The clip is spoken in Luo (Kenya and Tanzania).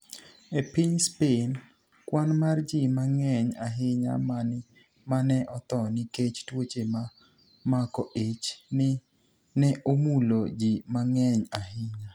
E piniy Spaini, kwani mar ji manig'eniy ahiniya ma ni e otho niikech tuoche ma mako ich, ni e omulo ji manig'eniy ahiniya.